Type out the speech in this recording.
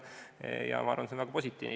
Ma arvan, et see on väga positiivne.